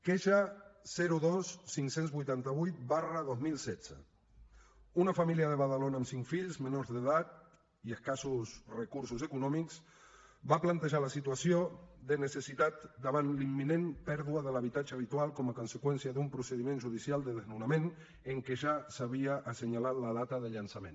queixa dos mil cinc cents i vuitanta vuit dos mil setze una família de badalona amb cinc fills menors d’edat i escassos recursos econòmics va plantejar la situació de necessitat davant la imminent pèrdua de l’habitatge habitual com a conseqüència d’un procediment judicial de desnonament en què ja s’havia assenyalat la data de llançament